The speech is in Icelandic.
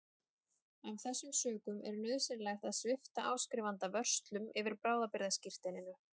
Af þessum sökum er nauðsynlegt að svipta áskrifanda vörslum yfir bráðabirgðaskírteininu.